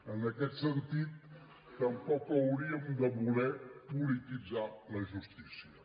en aquest sentit tampoc hauríem de voler polititzar la justícia